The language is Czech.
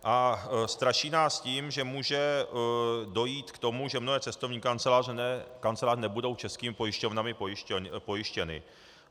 A straší nás tím, že může dojít k tomu, že mnohé cestovní kanceláře nebudou českými pojišťovnami pojištěny.